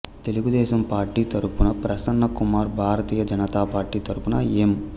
Telugu Desam party తరఫున Prasanna Kumar Bharatiya Janata party తరఫున ఎం